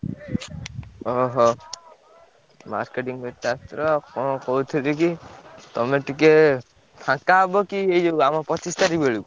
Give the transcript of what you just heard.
ଓହୋ! marketing କରିତେ ଆସିଥିଲ ଆଉ କଣ କହୁଥିଲି କି ତମେ ଟିକେ ଫାଙ୍କା ହବ କି ଏଇ ଯୋଉ ଆମ ପଚିଶି ତାରିଖ୍ ବେଳକୁ?